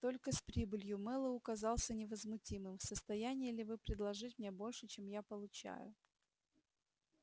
только с прибылью мэллоу казался невозмутимым в состоянии ли вы предложить мне больше чем я получаю